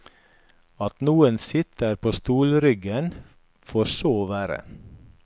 At noen sitter på stolryggen får så være.